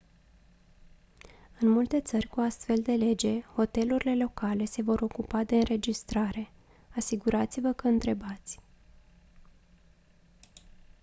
în multe țări cu o astfel de lege hotelurile locale se vor ocupa de înregistrare asigurați-vă că întrebați